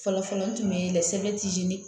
Fɔlɔfɔlɔ n tun bɛ sɛbɛn